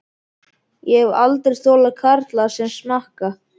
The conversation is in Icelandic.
Ég hef aldrei þolað karla sem smakka.